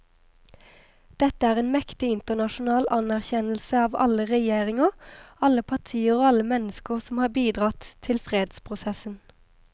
Dette er en mektig internasjonal anerkjennelse av alle regjeringer, alle partier og alle mennesker som har bidratt til fredsprosessen.